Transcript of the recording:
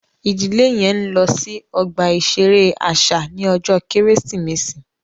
Ìdílé yẹn n lọ sí ọgbà iṣere àṣà ní ọjọ Kérésìmesì